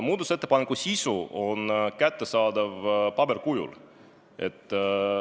Muudatusettepaneku sisu on kättesaadav ka paberil.